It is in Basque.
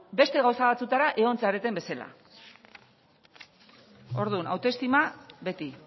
beste gauza batzutara egon zareten bezela orduan autoestima beti